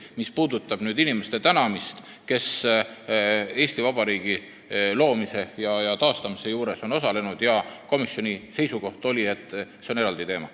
Mis puudutab Eesti Vabariigi loomise ja taastamise juures osalenud inimeste tänamist, siis komisjoni seisukoht oli, et see on eraldi teema.